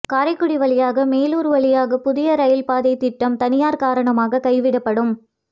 காரைகுடி வழியாக மெலூர் வழியாக புதிய இரயில் பாதை திட்டம் தனியார் காரணமாக கைவிடப்படும்